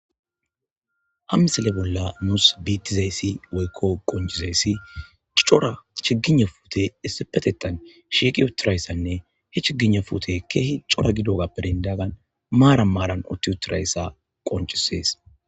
Hmisele bolla muus biittizayssi woykko qoncizayssi cora chigina fute issipetetan shiiqi utirayssanne he chigina fute keehi cora gidogappedindaagan maara maaran otti utirayssa qoncisees.